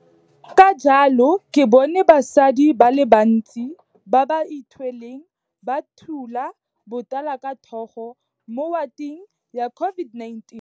Ka jalo ke bone basadi ba le bantsi ba ba ithweleng ba thula botala ka thogo mo wateng ya COVID19.